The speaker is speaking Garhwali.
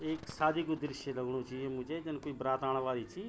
एक शादी कु दृश्य लगणू च यु मुझे जन कुई बरात आण वाली चि।